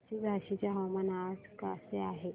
पळशी झाशीचे हवामान आज कसे आहे